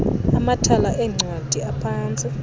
amathala eencwadi aphantsi